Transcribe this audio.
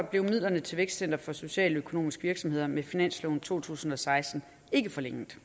blev midlerne til vækstcenter for socialøkonomiske virksomheder med finansloven to tusind og seksten ikke forlænget